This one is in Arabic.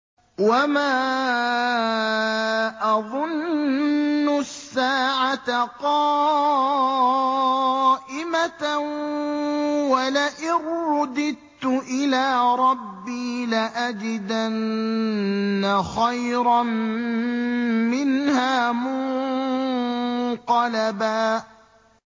وَمَا أَظُنُّ السَّاعَةَ قَائِمَةً وَلَئِن رُّدِدتُّ إِلَىٰ رَبِّي لَأَجِدَنَّ خَيْرًا مِّنْهَا مُنقَلَبًا